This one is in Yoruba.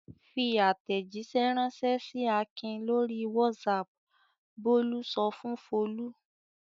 "Fi àtẹ̀jíṣẹ́ ránṣẹ́ sí Akin lórí WhatsApp!" Bólú sọ fún Folú.